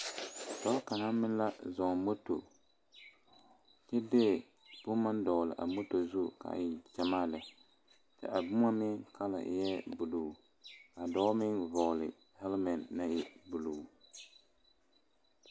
Dɔɔ kaŋa meŋ la zɔ moto kyɛ de boma dogle a moto zu gyamaa lɛ a boma meŋ ama eŋ buluu a dɔɔ meŋ vɔgle haleme naŋ e buluu.